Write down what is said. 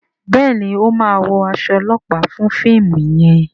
Béèni o má wọ as olopa fún fíìmù yen.